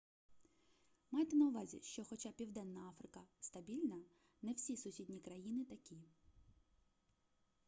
майте на увазі що хоча південна африка стабільна не всі сусідні країни такі